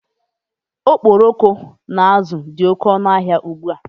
Okporoko na azụ dị oké ọnụ n'ahia ụgbụa